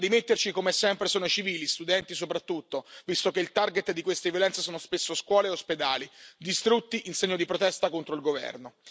A rimetterci, come sempre, sono i civili, studenti, soprattutto, visto che il target di queste violenze sono spesso scuole e ospedali, distrutti in segno di protesta contro il governo.